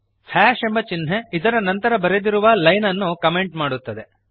hash ಎಂಬ ಚಿಹ್ನೆ ಇದರ ನಂತರ ಬರೆದಿರುವ ಲೈನ್ ಅನ್ನು ಕಮೆಂಟ್ ಮಾಡುತ್ತದೆ